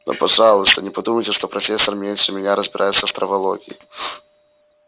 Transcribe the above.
но пожалуйста не подумайте что профессор меньше меня разбирается в травологии